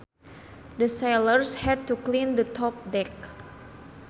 The sailors had to clean the top deck